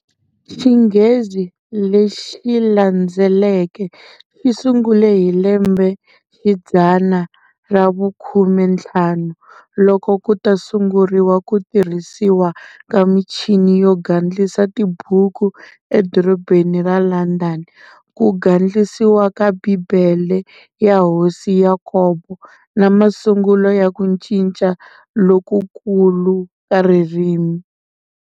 Xinghenzi lexilandzeleke xisungule hi lembexidzana ra vukhumenthlanu, loko kuta sunguriwa kutirhisiwa ka michini yo gandlisa tibuku edorobheni ra Landhani, ku gandlisiwa ka Bhibhele ya Hosi Yakobo, na masungulo ya ku ncinca lokukulu ka ririmi.